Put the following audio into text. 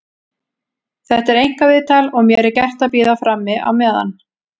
Þetta er einkaviðtal og mér er gert að bíða frammi á meðan.